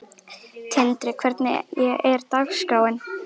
Tindri, hvernig er dagskráin?